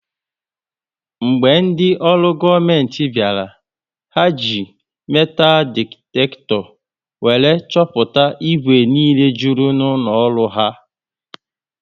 Mgbe ndị olu goomenti bịara, ha ji metalu diktakto wéré chọpụta igwe niile jụrụ n'ụlọ ọrụ ahụ